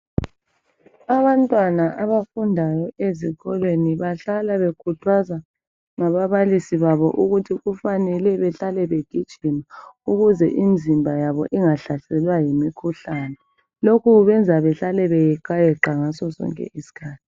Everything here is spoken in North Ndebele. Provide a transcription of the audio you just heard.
Abantwana abafundayo ezikolweni bahlala bekhuthazwa ngababalisi babo ukuthi kufanele behlale begijima ukuze imzimba yabo ingahlaselwa yimikhuhlane. Lokhu kubenza behlale beyeqayeqa ngasosonke isikhathi.